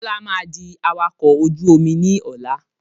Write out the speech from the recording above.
Bọlá máa di awakọ̀ ojú omi ni ọ̀la